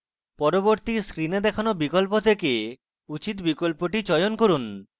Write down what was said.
পরবর্তী screen দেখানো বিকল্প থেকে উচিত বিকল্পটি চয়ন করুন